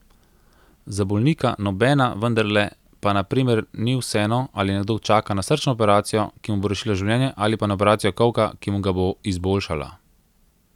Za bolnika nobena, vendarle pa na primer ni vseeno, ali nekdo čaka na srčno operacijo, ki mu bo rešila življenje, ali pa na operacijo kolka, ki mu ga bo izboljšala.